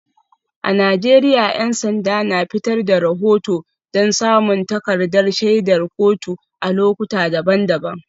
A Najeriya 'yan sanda na fitar da rahoto don samun takardar shaidar kotu a lokuta daban-daban.